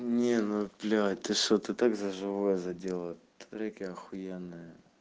не ну блять ты что ты так за живое задела смотри какая ахуенная